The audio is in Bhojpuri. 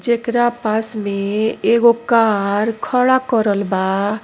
जेकरा पास में एगो कार खड़ा करल बा।